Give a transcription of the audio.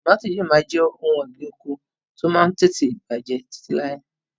Tọmatì yìí ó máa jẹ òun ọ̀gbín oko ti o Máà ń tètè bàjẹ́ títí lailai